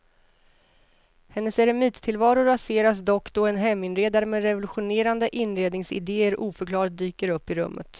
Hennes eremittillvaro raseras dock då en heminredare med revolutionerande inredningsidéer oförklarligt dyker upp i rummet.